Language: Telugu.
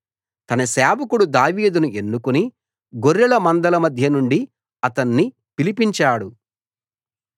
తన సేవకుడు దావీదును ఎన్నుకుని గొర్రెల మందల మధ్య నుండి అతణ్ణి పిలిపించాడు